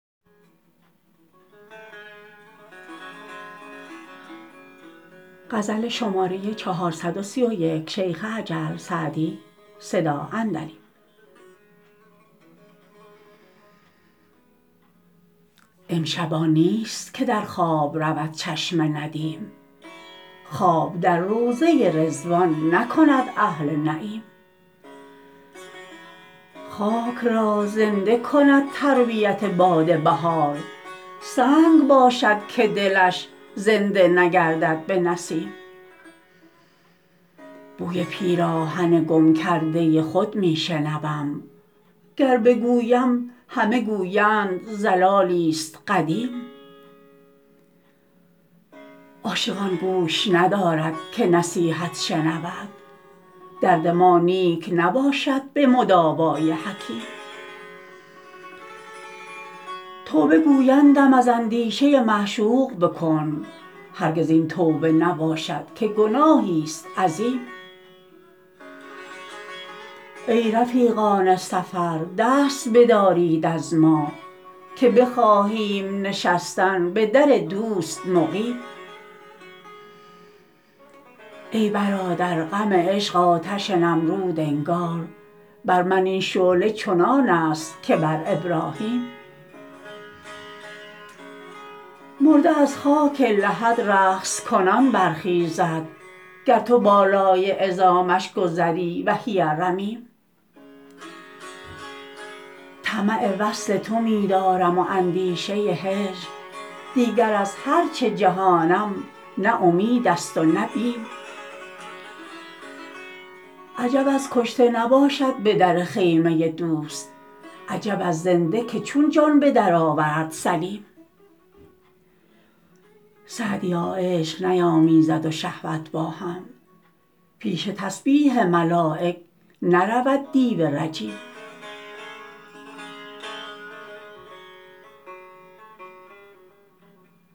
امشب آن نیست که در خواب رود چشم ندیم خواب در روضه رضوان نکند اهل نعیم خاک را زنده کند تربیت باد بهار سنگ باشد که دلش زنده نگردد به نسیم بوی پیراهن گم کرده خود می شنوم گر بگویم همه گویند ضلالی ست قدیم عاشق آن گوش ندارد که نصیحت شنود درد ما نیک نباشد به مداوا ی حکیم توبه گویندم از اندیشه معشوق بکن هرگز این توبه نباشد که گناهی ست عظیم ای رفیقان سفر دست بدارید از ما که بخواهیم نشستن به در دوست مقیم ای برادر غم عشق آتش نمرود انگار بر من این شعله چنان است که بر ابراهیم مرده از خاک لحد رقص کنان برخیزد گر تو بالای عظامش گذری وهی رمیم طمع وصل تو می دارم و اندیشه هجر دیگر از هر چه جهانم نه امید است و نه بیم عجب از کشته نباشد به در خیمه دوست عجب از زنده که چون جان به درآورد سلیم سعدیا عشق نیامیزد و شهوت با هم پیش تسبیح ملایک نرود دیو رجیم